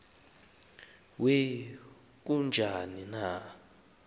we kujuni ka